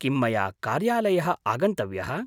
किं मया कार्यालयः आगन्तव्यः?